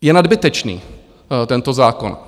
Je nadbytečný tento zákon.